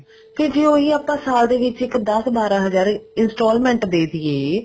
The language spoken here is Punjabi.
ਤੇ ਜੇ ਉਹੀ ਆਪਾਂ ਸਾਲ ਦੇ ਵਿੱਚ ਦਸ ਬਾਰਾਂ ਹਜ਼ਾਰ instalment ਦੇ ਦੀਏ